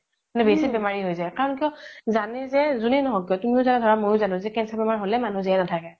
মানে বেচি বেমাৰি হয় যাই কাৰন কিয় জানে যে জুনেও নহ্ক কিয় তুমিও জানা ধৰা মইও জানো cancer বেমাৰ হ্'লে মানুহ জিয়াই নাথাকে